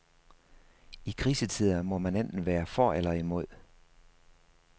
I krisetider må man enten være for eller imod.